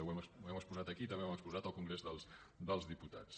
ho hem exposat aquí i també ho hem exposat en el congrés dels diputats